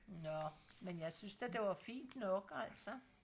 nå men jeg synes da det var fint nok altså